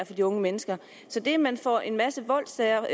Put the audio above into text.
for de unge mennesker så det at man får en masse voldssager